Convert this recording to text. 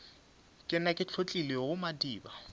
ke nna ke hlotlilego madiba